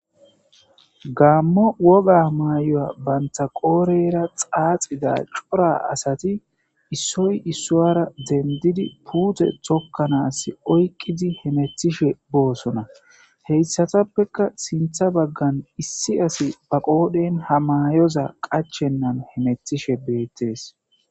gaammo woga may7oya banta qooreyra xaaxida cora asati issoy issowara dendidi puute tokkanas oyqqidi hemethishe boosona heyssatappeka sintha baggan issi asi ba qoodhen ha mayoza qachennan hemetishe beettees